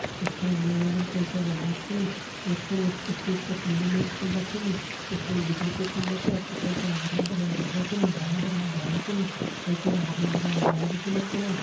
यख फण मैदानम कई सरा लोग छन यख फणा अब क्रिकेट का टूर्नामेंट होंदा छन यख फुण बिजली कु खम्बा छा पिछाड़ी फुण हरयां भरयां ढोकरा छन हरयां भरयां ढालडा छन कई सारा हरयां भरयां डाला भी छन यख फणा।